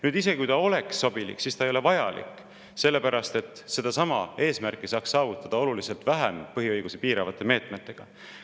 Aga isegi kui see oleks sobilik, siis see ei ole vajalik, sellepärast et selle eesmärgi saaks saavutada oluliselt vähem põhiõigusi piiravate meetmetega.